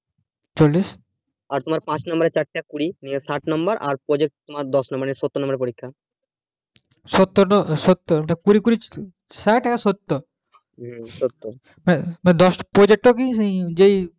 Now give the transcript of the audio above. চল্লিশ আর তোমার পাঁচ number এর চার চার কুড়ি নিয়ে ষাট number আর project তোমার দশ number সত্তর number এর পরীক্ষা